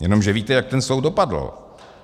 Jenomže víte, jak ten soud dopadl.